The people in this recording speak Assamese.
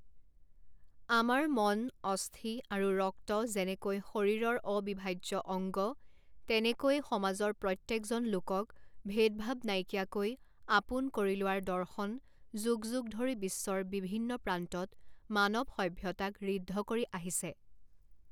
আমাৰ মন, অস্থি আৰু ৰক্ত যেনেকৈ শৰীৰৰ অবিভাজ্য অংগ, তেনেকৈয়ে সমাজৰ প্ৰত্যেকজন লোকক ভেদ ভাব নাইকিয়াকৈ আপোন কৰি লোৱাৰ দৰ্শন যুগ যুগ ধৰি বিশ্বৰ বিভিন্ন প্ৰান্তত মানৱ সভ্যতাক ঋদ্ধ কৰি আহিছে।